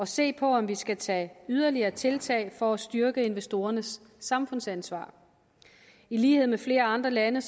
se på om vi skal tage yderligere tiltag for at styrke investorernes samfundsansvar i lighed med flere andre lande